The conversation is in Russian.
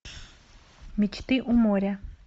мечты у моря